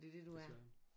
Desværre